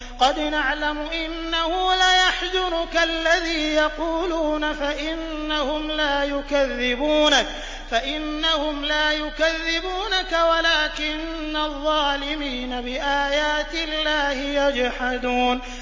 قَدْ نَعْلَمُ إِنَّهُ لَيَحْزُنُكَ الَّذِي يَقُولُونَ ۖ فَإِنَّهُمْ لَا يُكَذِّبُونَكَ وَلَٰكِنَّ الظَّالِمِينَ بِآيَاتِ اللَّهِ يَجْحَدُونَ